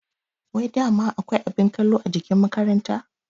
Wai dama akwai abin kallo a ajin makaranta?